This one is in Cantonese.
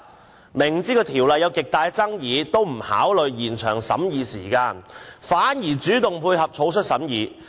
政府雖然知道《條例草案》有極大爭議，卻不考慮延長審議時間，反而主動配合草率審議。